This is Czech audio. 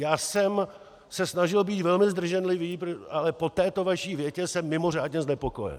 Já jsem se snažil být velmi zdrženlivý, ale po této vaší větě jsem mimořádně znepokojen!